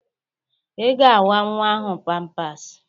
I ga awa nnwa ahụ pampasị!